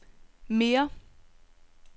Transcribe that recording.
mere